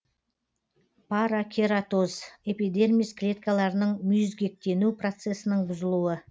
паракератоз эпидермис клеткаларының мүйізгектену процесінің бұзылуы